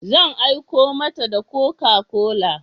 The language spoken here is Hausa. Zan aiko mata da Coca-Cola.